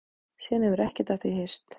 Síðan hefur ekkert af því heyrst